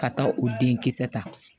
Ka taa o denkisɛ ta